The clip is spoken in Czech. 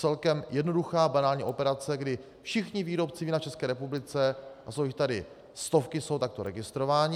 Celkem jednoduchá banální operace, kdy všichni výrobci vína v České republice, a jsou jich tady stovky, jsou takto registrováni.